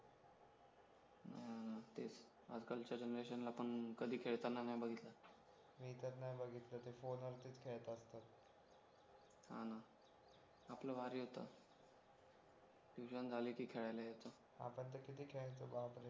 आजकालच्या generation ला पण कधीच खेळताना नाही बघितलं मी तर नाही बघितलं ते फोनवरतीच खेळतात तर हा ना आपला भारी होतं tuition झाली की खेळायला यायचं आपण तर किती खेळायचो बापरे